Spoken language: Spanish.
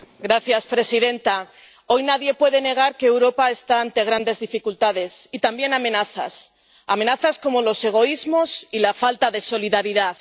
Señora presidenta. Hoy nadie puede negar que Europa está ante grandes dificultades y también amenazas, amenazas como los egoísmos y la falta de solidaridad.